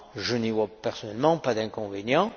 Je n'y vois personnellement pas d'inconvénient.